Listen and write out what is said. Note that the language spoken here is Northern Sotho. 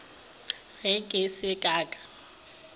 ge ke se ka ka